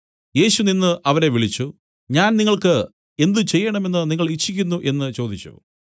യേശു നിന്നു അവരെ വിളിച്ചു ഞാൻ നിങ്ങൾക്ക് എന്ത് ചെയ്യേണമെന്ന് നിങ്ങൾ ഇച്ഛിക്കുന്നു എന്നു ചോദിച്ചു